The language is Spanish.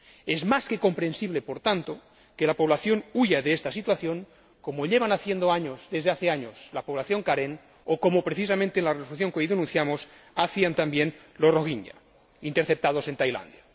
Es más que comprensible, por tanto, que la población huya de esta situación, como lleva haciendo desde hace años la población karen o, como precisamente denunciamos hoy en la resolución, hacían también los rohingya interceptados en Tailandia.